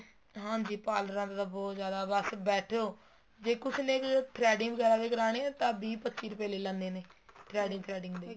ਹਾਂਜੀ ਪਾਲਰਾਂ ਤੇ ਤਾਂ ਬਹੁਤ ਜਿਆਦਾ ਬੱਸ ਬੈਠੋ ਜ਼ੇ ਕੁੱਛ ਨਹੀਂ threading ਵਗੈਰਾ ਹੀ ਕਰਾਣੀ ਹੈ ਤਾਂ ਵੀਹ ਪੱਚੀ ਰੁਪਏ ਲੈ ਲੈਂਦੇ ਨੇ threading threading ਦੇ